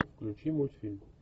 включи мультфильм